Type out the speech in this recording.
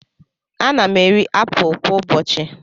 Ana m eri apụl kwa ụbọchị.